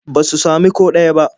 Ba su sami ko ɗaya ba.